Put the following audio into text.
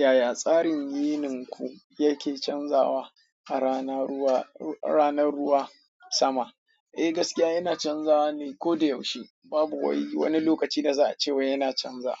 Yaya tsarin yi ninku yake canzawa a ranar ruwa sama? Eh gaskiya yana canzawa ne ko da yaushe babu wani lokaci da za a ce wa yana canza.